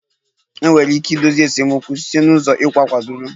Enwere ike idozi esemokwu site n'ụzọ iwu kwadoro